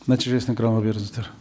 нәтижесін экранға беріңіздер